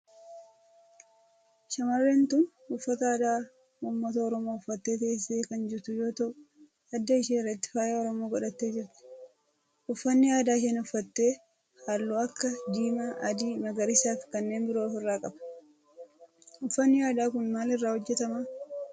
Shamarreen tun uffata aadaa ummata oromoo uffattee teessee kan jirtu yoo ta'u adda ishee irratti faaya oromoo godhattee jirti. uffanni aadaa isheen uffatte halluu akka diimaa, adii, magariisaa fi kanneen biroo of irraa qaba. uffanni aadaa kun maal irraa hojjetama?